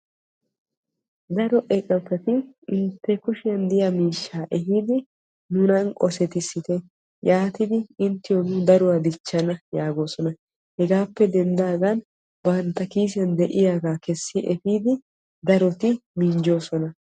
Daro eqotati intte kushiyan diya miishshaa ehiidi nunan qosetissite yaatidi inttiyo nu daruwaa dichchana yaagosonahegaappe denddaagan bantta kiisiyan diyaaga kessi epiidi daroti minjjosona.